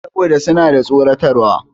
Saboda suna da tsoratarwa.